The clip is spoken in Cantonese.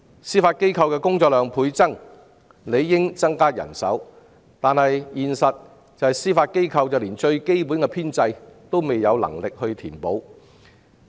司法機構的工作量倍增，理應增加人手，但現實是司法機構連基本編制也無法填補。